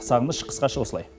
сағыныш қысқаша осылай